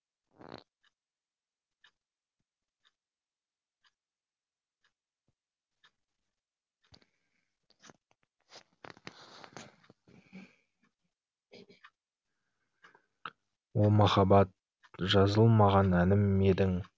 о махаббат жазылмаған әнім едің